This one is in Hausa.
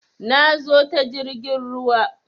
Na zo ta jirgin ruwa